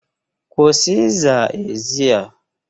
Kwụsị ịza ezi a!